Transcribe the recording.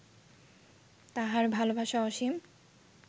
তাঁহার ভালবাসা অসীম